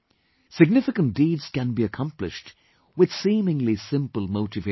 Significant deeds can be accomplished with seemingly simple motivations